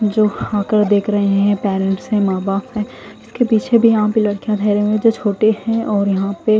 जो हाकर देख रहे है पेरेंट्स है मा बाप है इसके पीछे भी यहा पे लडकिया ढहरे हुए जो छोटे है यहा पे--